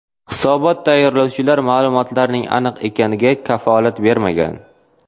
Hisobot tayyorlovchilar ma’lumotlarning aniq ekaniga kafolat bermagan.